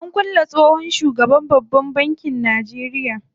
An kulle tsohon shugaban babban bankin Najeria.